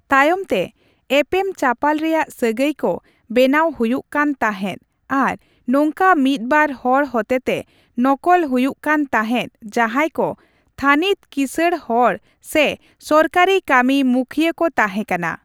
ᱛᱟᱭᱚᱢᱛᱮ, ᱮᱯᱮᱢᱪᱟᱯᱟᱞ ᱨᱮᱭᱟᱜ ᱥᱟᱹᱜᱟᱹᱭ ᱠᱚ ᱵᱮᱱᱟᱣ ᱦᱩᱭᱩᱜ ᱠᱟᱱ ᱛᱟᱦᱮᱸᱫ ᱟᱨ ᱱᱚᱝᱠᱟ ᱢᱤᱫ ᱵᱟᱨ ᱦᱚᱲ ᱦᱚᱛᱮᱛᱮ ᱱᱚᱠᱚᱞ ᱦᱩᱭᱩᱜ ᱠᱟᱱ ᱛᱟᱦᱮᱸᱫ ᱡᱟᱦᱟᱸᱭ ᱠᱚ ᱛᱷᱟᱹᱱᱤᱛ ᱠᱤᱥᱟᱹᱬ ᱦᱚᱲ ᱥᱮ ᱥᱚᱨᱠᱟᱨᱤ ᱠᱟᱹᱢᱤ ᱢᱩᱠᱷᱤᱭᱟᱹ ᱠᱚ ᱛᱟᱦᱮᱸ ᱠᱟᱱᱟ ᱾